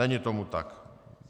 Není tomu tak.